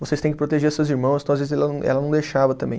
Vocês têm que proteger seus irmãos, então às vezes ela não, ela não deixava também.